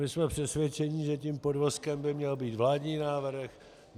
My jsme přesvědčeni, že tím podvozkem by měl být vládní návrh.